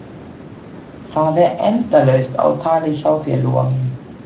Það er endalaust á tali hjá þér, Lóa mín.